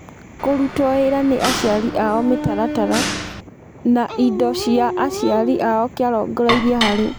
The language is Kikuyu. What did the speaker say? Kũrutwo wĩra nĩ aciari ao mĩtaratara, na indo cia aciari ao kĩarongoreirio harĩ.